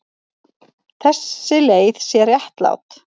Þessi leið sé réttlát.